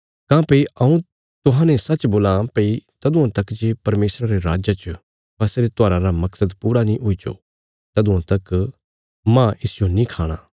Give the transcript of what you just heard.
काँह्भई हऊँ तुहांजो सच्च बोलां भई तदुआं तक जे परमेशरा रे राज्जा च फसह रे त्योहारा रा मकसद पूरा नीं हुईजो तदुआं तक मांज इसजो नीं खाणा